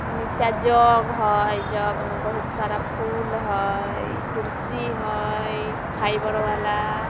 निच्चा जग हई जग में बहुत सारा फूल हई कुर्सी हई फाइबर वाला।